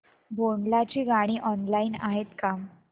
भोंडला ची गाणी ऑनलाइन आहेत का